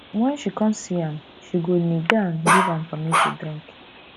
wen she con see am she go knee down giv am pammy to drink